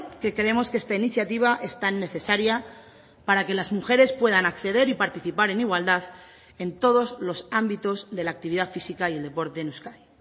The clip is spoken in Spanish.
que creemos que esta iniciativa es tan necesaria para que las mujeres puedan acceder y participar en igualdad en todos los ámbitos de la actividad física y el deporte en euskadi